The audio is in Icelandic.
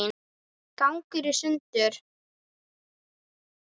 ganga í sundur